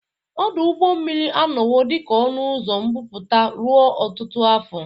Ọdụ ụgbọ mmiri anọwo dị ka ọnụ ụzọ mbubata ruo ọtụtụ afọ.